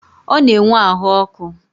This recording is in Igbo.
Ọ na-enwe ahụ ọkụ.